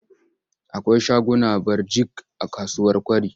Akwai shaguna birjik a kasuwar Kwari.